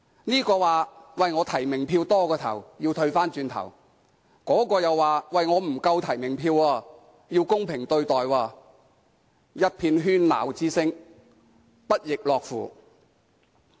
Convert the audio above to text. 某候選人說提名票過多要退回，某候選人又說提名票不足，要公平對待，一遍喧鬧聲，不亦樂乎。